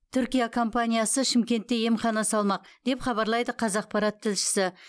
түркия компаниясы шымкентте емхана салмақ деп хабарлайды қазақпарат тілшісі